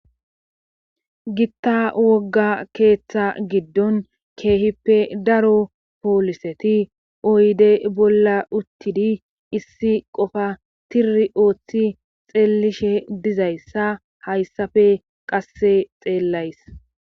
Pitta wogga keeththa giddon keehippe daro pooliseti oyde bolla uttidi issi qofa tiri ooththi xeellishe dizayssa hayssafe qasse xeellays